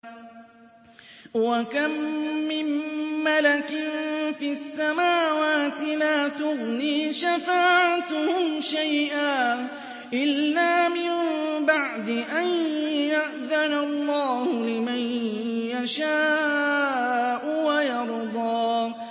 ۞ وَكَم مِّن مَّلَكٍ فِي السَّمَاوَاتِ لَا تُغْنِي شَفَاعَتُهُمْ شَيْئًا إِلَّا مِن بَعْدِ أَن يَأْذَنَ اللَّهُ لِمَن يَشَاءُ وَيَرْضَىٰ